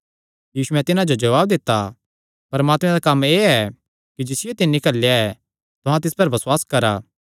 यीशुयैं तिन्हां जो जवाब दित्ता परमात्मे दा कम्म एह़ ऐ कि जिसियो तिन्नी घल्लेया ऐ तुहां तिस पर बसुआस करा